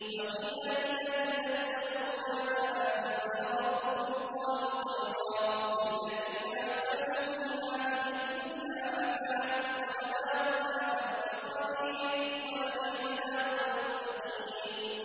۞ وَقِيلَ لِلَّذِينَ اتَّقَوْا مَاذَا أَنزَلَ رَبُّكُمْ ۚ قَالُوا خَيْرًا ۗ لِّلَّذِينَ أَحْسَنُوا فِي هَٰذِهِ الدُّنْيَا حَسَنَةٌ ۚ وَلَدَارُ الْآخِرَةِ خَيْرٌ ۚ وَلَنِعْمَ دَارُ الْمُتَّقِينَ